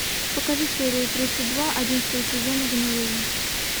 покажи серию тридцать два одиннадцатого сезона гнилые